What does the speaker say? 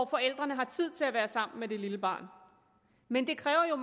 forældrene har tid til at være sammen med det lille barn men det kræver jo